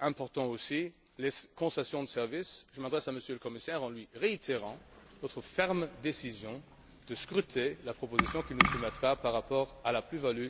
important aussi, les concessions de service. Je m'adresse à M. le commissaire en lui réitérant notre ferme décision de scruter la proposition qu'il nous soumettra par rapport à la plus value